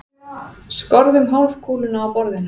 Skorðum hálfkúluna á borðinu.